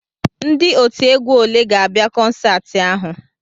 Ndị otiegwu olee ga-abịa kọnsaati ahụ?